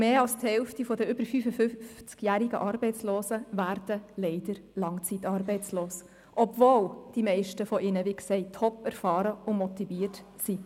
Und mehr als die Hälfte der über 55jährigen Arbeitslosen werden leider langzeitarbeitslos, obwohl die meisten unter ihnen, wie gesagt, top erfahren und motiviert sind.